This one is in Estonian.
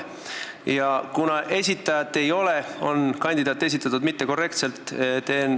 Ja kuna esitajat ei ole, on kandidaat esitatud ebakorrektselt.